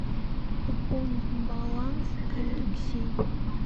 пополнить баланс алексей